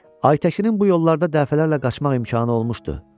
Aytəkinin bu yollarda dəfələrlə qaçmaq imkanı olmuşdu.